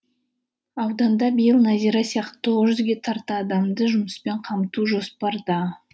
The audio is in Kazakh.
ауданда биыл назира сияқты тоғыз жүзге тарта адамды жұмыспен қамту жоспарда